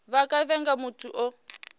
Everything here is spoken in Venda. vha nga vhiga muthu o